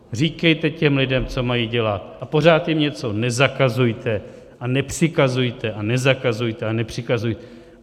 Říkejte těm lidem, co mají dělat, a pořád jim něco nezakazujte a nepřikazujte a nezakazujte a nepřikazujte.